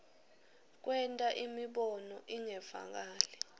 kwenta imibono ingevakali